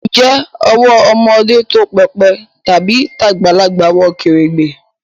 Ǹjẹ́ owó ọmọdé tó pépè tàbí tagbalagbà wọ kèrègbè?